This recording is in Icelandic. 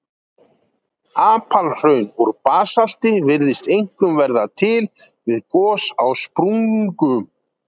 Apalhraun úr basalti virðast einkum verða til við gos á sprungum.